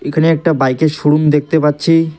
এখানে একটা বাইকের শোরুম দেখতে পাচ্ছি।